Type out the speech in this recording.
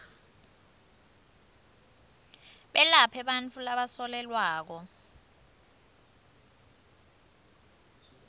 belaphe bantfu labasolelwako